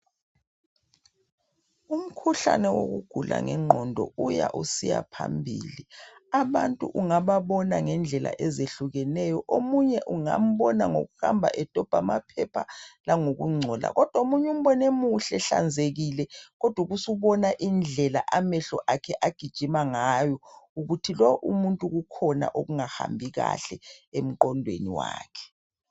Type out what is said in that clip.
Umkhuhlane wokugula ngengqondo uya usiya phambili abantu ungababona ngendlela ezehlukeneyo omunye ungambona ngokuhamba edobha amaphepha omunye ngokungcola kodwa omunye umbone emuhle ehlanzekileyo kodwa usubona indlela amehlo akhe agijina ngayo ukuthi lo umuntu kukhona okungahambi kahle engqondweni wakhe